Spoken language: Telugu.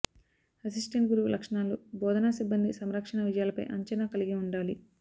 అసిస్టెంట్ గురువు లక్షణాలు బోధనా సిబ్బంది సంకర్షణ విజయాలపై అంచనా కలిగి ఉండాలి